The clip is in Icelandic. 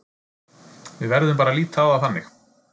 Við verðum bara að líta á það þannig.